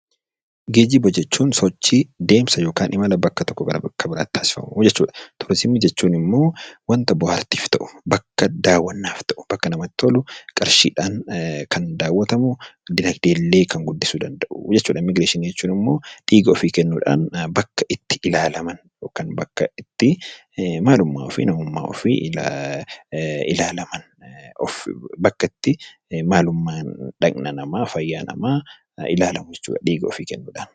Geejiba jechuun sochii yookaan deemsa imala bakka tokkoo gara bakka biraatti taasifamu jechuudha. Turizimii jechuun immoo waanta bohaartiif ta'u , bakka daawwannaaf ta'u, bakka namatti tolu qarshiidhaan kan daawwatamu dinaagdee illee kan guddisuu danda'u. Immigireeshinii jechuun immoo dhiiga ofii kennuun bakka itti ilaalaman yookaan maalummaa ofii, eenyummaa ofii ilaalaman, of ilaalan , maalummaa dhaqna namaa ilaalamu jechuudha dhiiga ofii kennuudhaan.